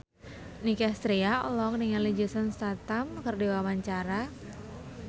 Nicky Astria olohok ningali Jason Statham keur diwawancara